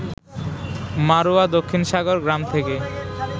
মাড়ুয়া দক্ষিণ সাগর গ্রাম থেকে